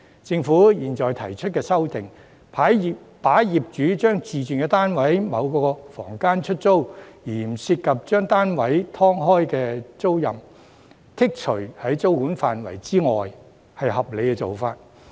政府現時提出修訂，把業主將自住單位的某個房間出租而不涉及把單位"劏開"的租賃，剔除於租管範圍之外，是合理的做法。